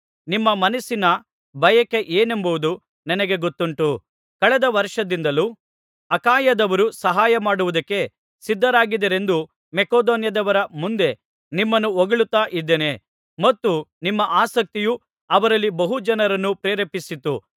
ನಿಮ್ಮ ಮನಸ್ಸಿನ ಬಯಕೆ ಏನೆಂಬುದು ನನಗೆ ಗೊತ್ತುಂಟು ಕಳೆದ ವರ್ಷದಿಂದಲೂ ಅಖಾಯದವರು ಸಹಾಯಮಾಡುವುದಕ್ಕೆ ಸಿದ್ಧರಾಗಿದ್ದರೆಂದು ಮಕೆದೋನ್ಯದವರ ಮುಂದೆ ನಿಮ್ಮನ್ನು ಹೊಗಳುತ್ತಾ ಇದ್ದೇನೆ ಮತ್ತು ನಿಮ್ಮ ಆಸಕ್ತಿಯು ಅವರಲ್ಲಿ ಬಹುಜನರನ್ನು ಪ್ರೇರೇಪಿಸಿತು